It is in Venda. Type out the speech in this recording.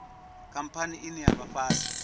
khamphani ine ya vha fhasi